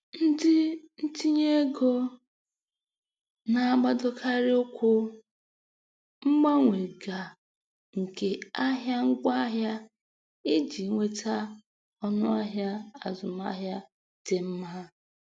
Ndị ntinyeego na-agbadokarị ụkwụ mgbanwe ga nke ahịa ngwaahịa iji nweta ọnụahịa azụmahịa dị mma.